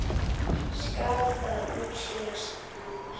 Skal það útskýrt nánar.